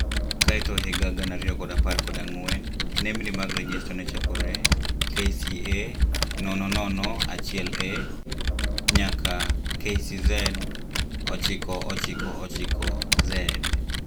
Kae to higa gana ariyo kod apar kod ang'wen, nemni mag rejesta nechakore KCA 001A NYAKA kcz 999z